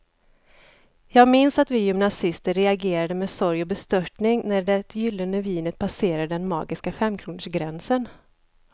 Jag minns att vi gymnasister reagerade med sorg och bestörtning när det gyllene vinet passerade den magiska femkronorsgränsen.